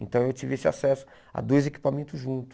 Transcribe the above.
Então eu tive esse acesso a dois equipamentos juntos.